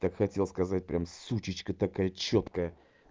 так хотел сказать прямо сучечка такая чёткая